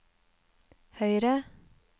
høyre